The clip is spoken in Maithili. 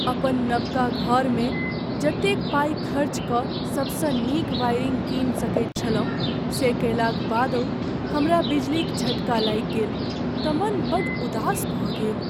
अपन नबका घरमे जतेक पाइ खर्च कऽ सबसँ नीक वायरिंग कीनि सकैत छलहुँ से कयलाक बादहु हमरा बिजलीक झटका लागि गेल तँ मन बड़ उदास भऽ गेल।